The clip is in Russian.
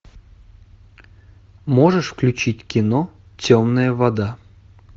можешь включить кино темная вода